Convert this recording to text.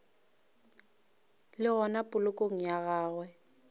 le gona polokong ya gagwe